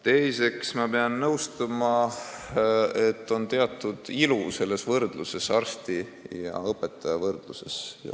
Teiseks, ma pean nõustuma, et on teatud ilu selles arsti ja õpetaja võrdluses.